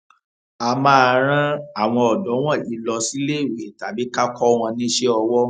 a máa rán àwọn ọdọ wọnyí lọ síléèwé tàbí ká kó wọn níṣẹ owó